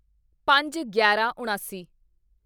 ਪੰਜਗਿਆਰਾਂਉਣਾਸੀ